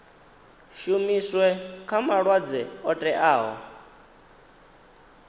shumiswe kha malwadzwe o teaho